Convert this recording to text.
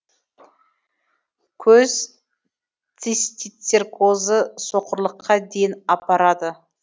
көз цистицеркозы соқырлыққа дейін апарады